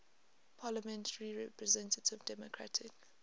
parliamentary representative democratic